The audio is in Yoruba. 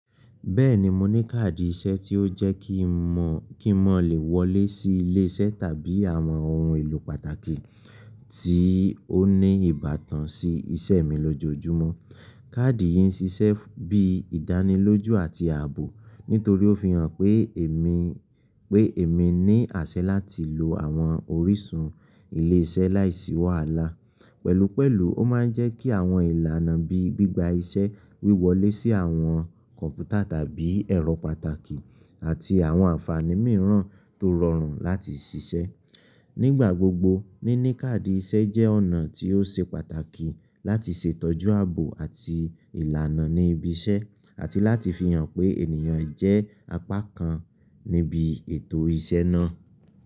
Bẹ́ẹ̀ni, mo ní káàdì iṣẹ́ tí ó jẹ́ kí n mọ̀, kí n lè wọlé sí ilé iṣẹ́ tàbí àwọn ohun èlò pàtàkì tí ó ní ìbátan sí iṣẹ́ mi lójoojúmọ́. Káàdì yìí ń ṣiṣẹ́ bí ìdánilójú àti ààbò nítorí ó fi hàn pé èmi, pé èmi ní àṣẹ láti lo àwọn orísun ilé iṣẹ́ láìsí wàhálà. Pẹ̀lúpẹ̀lú, ó máa ń jẹ́ kí àwọn ìlànà bíi gbígba iṣẹ́ wíwọlé sí àwọn kọ̀ǹpútà tàbí ẹ̀rọ pàtàkì àti àwọn ànfàní mìíràn tó rọrùn láti ṣiṣẹ́. Nígbà gbogbo, níní káàdì iṣẹ́ jẹ́ ọ̀nà tí ó ṣe pàtàkì láti ṣètọ́jú ààbò àti ìlànà ní ibi iṣẹ́ àti láti fi hàn pé ènìyàn jẹ́ apá kan níbi ètò iṣẹ́ náà.